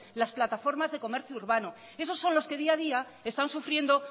las plataformas de comercio urbano esos son los que día a día están sufriendo